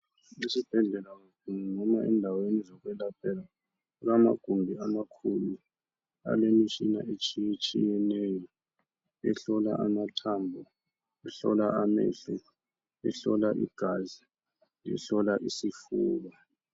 Esibhedlela noma endaweni zokwelaphela, kulamagumbi amakhulu. Alemitshina etshiyetshiyeneyo. Ehlola amathambo. Ehlola ameho, ehlola igazi, ehlola isifuba.